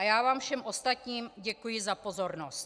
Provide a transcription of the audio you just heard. A já vám všem ostatním děkuji za pozornost.